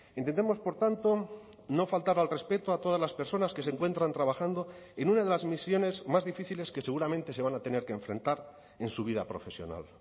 entendemos por tanto no faltar al respeto a todas las personas que se encuentran trabajando en una de las misiones más difíciles que seguramente se van a tener que enfrentar en su vida profesional